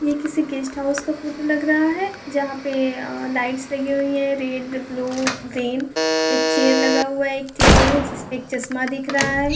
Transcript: यह किसी guest house का फोटो लग रहा है यहाँ पे अअ लाइट्स लगी हुई है रेड ब्लू ग्रीन एक चेयर लगा हुआ है एक टेबल है जिससे एक चश्मा दिख रहा है।